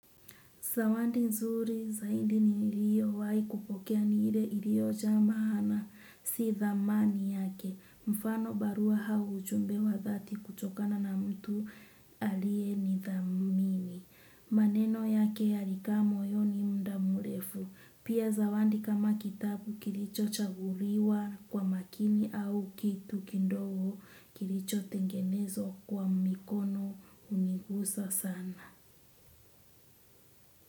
Zawadi nzuri zaidi niliyowahi kupokea ni ile iliyojaa maana si dhamani yake. Mfano barua au ujumbe wa dhati kutokana na mtu aliyenidhamini. Maneno yake yalikaa moyoni muda mrefu. Pia zawadi kama kitabu kilichochaguliwa kwa makini au kitu kidogo kilichotengenezwa kwa mikono hunigusa sana.